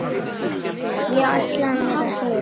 Ég ætlaði mér að sigra.